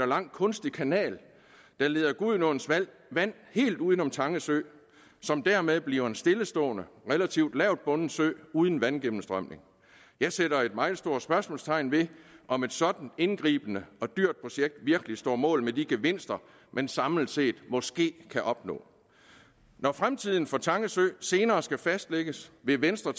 lang kunstig kanal der leder gudenåens vand helt uden om tange sø som dermed bliver en stillestående relativt lavbundet sø uden vandgennemstrømning jeg sætter et meget stort spørgsmålstegn ved om et sådant indgribende og dyrt projekt virkelig står mål med de gevinster man samlet set måske kan opnå når fremtiden for tange sø senere skal fastlægges vil venstre